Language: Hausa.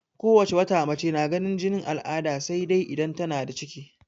Ko wace wata mace na ganin jinin al'ada sai dai idan tana da ciki.